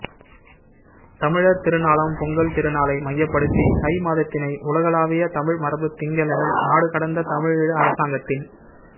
தமிழர் திருநாளாம் பொங்கல் திருநாளை மையப்படுத்தி தை மாதத்தினை உலகளாவிய தமிழ் மரபுத் திங்களென நாடுகடந்த தமிழீழ அரசாங்கத்தின்